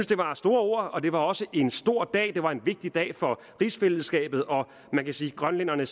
det var store ord det var også en stor dag det var en vigtig dag for rigsfællesskabet man kan sige at grønlænderne